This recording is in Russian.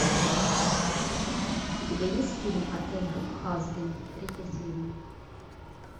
у тебя есть фильм отель хазбин третья серия